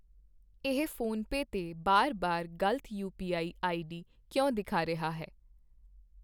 ਇਹ ਫ਼ੋਨਪੇ ਤੇ ਬਾਰ ਬਾਰ ਗ਼ਲਤ ਯੂਪੀਆਈ ਆਈਡੀ ਕਿਉਂ ਵਿਖਾ ਰਿਹਾ ਹੈ?